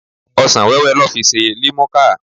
Ọsan-wẹ́wẹ́ lọ́ fi ṣe limuka.